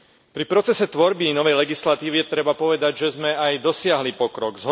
Pri procese tvorby novej legislatívy treba povedať, že sme aj dosiahli pokrok.